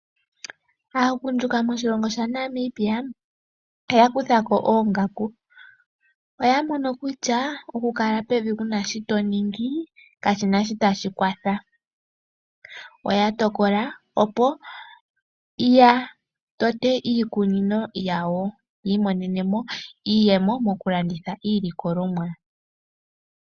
Aagundjuka moshilongo sha Namibia oyakuthako oongaku, oyamono kutya okukala pevi kunashi toningi kashinashi tashikwatha ,oyatokola opo yatote iikunino yawo yiimonenemo iiyemo mokulanditha iilikolomwa.